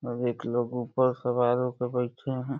अब एक लोग ऊपर सवार होके बैठे हैं।